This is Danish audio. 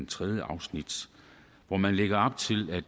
tredje afsnit hvor man lægger op til at